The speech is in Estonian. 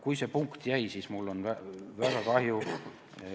Kui see punkt siia sisse jäi, siis on mul väga kahju.